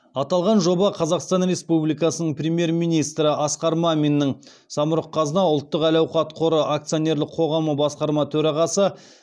аталған жоба қазақстан республикасының премьер министрі асқар маминнің самұрық қазына ұлттық әл ауқат қоры акционерлік қоғамы басқарма төрағасы